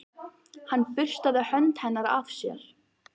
Hann burstaði hönd hennar af sér.